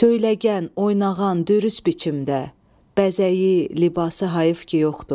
Söyləgən, oyunağan, dürüst biçimdə, bəzəyi, libası hayıf ki yoxdur.